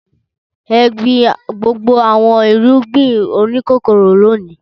Ẹ gbin gbogbo àwọn irúgbìn oníkóró lónìí!